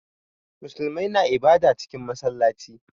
Muslimai na ibada cikin massalaci.